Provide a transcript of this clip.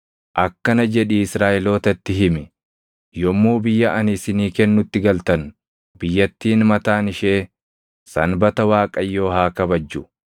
“Akkana jedhii Israaʼelootatti himi: ‘Yommuu biyya ani isinii kennutti galtan, biyyattiin mataan ishee sanbata Waaqayyoo haa kabajju.